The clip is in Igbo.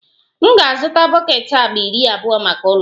M ga-azụta bọket agba iri abụọ maka ụlọ